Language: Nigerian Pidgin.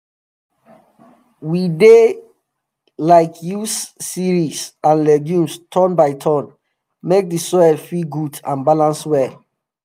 we dey like use cereals and legumes turn by turn make d soil fit good and balance well